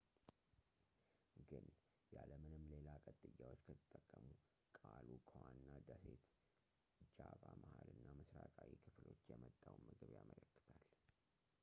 ግን ያለምንም ሌላ ቅጥያዎች ከተጠቀሙ ቃሉ ከዋና ደሴት ጃቫ መሃል እና ምስራቃዊ ክፍሎች የመጣውን ምግብ ያመለክታል